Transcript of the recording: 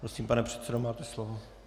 Prosím, pane předsedo, máte slovo.